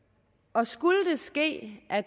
og skulle det ske at